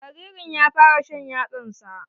Jaririn ya fara shan yatsan sa.